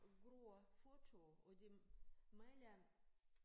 Gror fortove og de maler